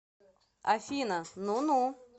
афина ну ну